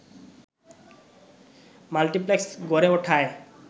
multiplex গড়ে ওঠায়